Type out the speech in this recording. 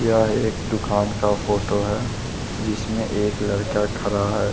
यह एक दुकान का फोटो है जिसमें एक लरका खड़ा है।